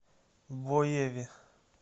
боеве